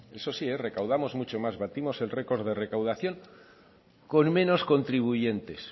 eso sí recaudamos mucho más batimos el record de recaudación con menos contribuyentes